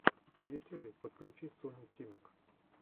в ютюбе подключи соню тимак